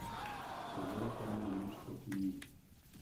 Seveda pa nimam nič proti njim.